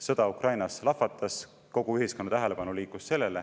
Sõda Ukrainas lahvatas ja kogu ühiskonna tähelepanu liikus sellele.